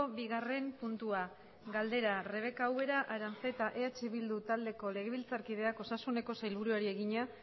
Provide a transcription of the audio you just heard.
bigarren puntua galdera rebeka ubera aranzeta eh bildu taldeko legebiltzarkideak osasuneko sailburuari egina